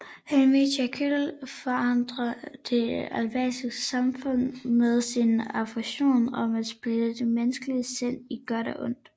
Henry Jekyll forarger det etablerede samfund med sin ambition om at splitte det menneskelige sind i godt og ondt